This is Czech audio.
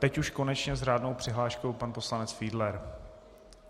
Teď už konečně s řádnou přihláškou pan poslanec Fiedler.